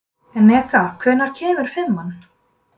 Eneka, hvenær kemur fimman?